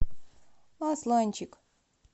асланчик